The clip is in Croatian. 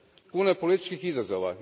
Puno je političkih izazova.